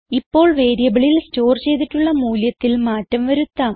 ഇപ്പോൾ വേരിയബിളിൽ സ്റ്റോർ ചെയ്തിട്ടുള്ള മൂല്യത്തിൽ മാറ്റം വരുത്താം